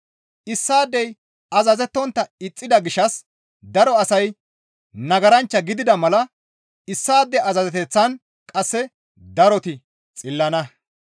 Issaadey azazettontta ixxida gishshas daro asay nagaranchcha gidida mala issaade azazeteththan qasse daroti xillana.